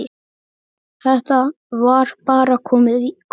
Þetta var bara komið gott.